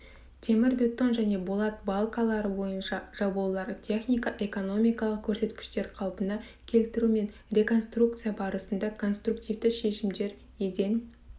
темірбетон және болат балкалары бойынша жабулар технико-экономикалық көрсеткіштер қалпына келтіру мен реконструкция барысында конструктивті шешімдер еден